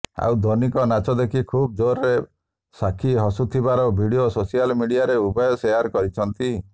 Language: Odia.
ଆଉ ଧୋନିଙ୍କ ନାଚ ଦେଖି ଖୁବ ଜୋରରେ ସାକ୍ଷୀ ହସୁଥିବାର ଭିଡିଓ ସୋସିଆଲ ମିଡିଆରେ ଉଭୟ ଶେୟାର କରିଛନ୍ତି